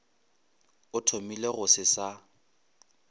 a thomile go se sa